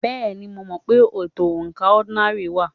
Bẹ́ẹ̀ni, mo mọ̀ pé ètò oǹkà ọ́dínààlí wà.